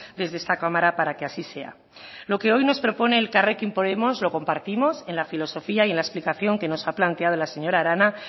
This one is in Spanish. desde esta cámara para que así sea lo que hoy nos propone elkarrekin podemos lo compartimos en la filosofía y en la explicación que nos ha planteado la señora arana